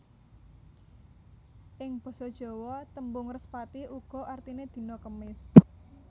Ing basa Jawa tembung Respati uga artiné dina Kemis